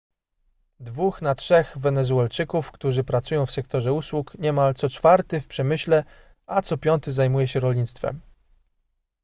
dwóch na trzech wenezuelczyków którzy pracują w sektorze usług niemal co czwarty w przemyśle a co piąty zajmuje się rolnictwem